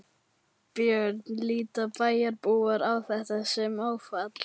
Björn: Líta bæjarbúar á þetta sem áfall?